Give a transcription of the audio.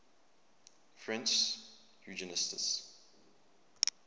french eugenicists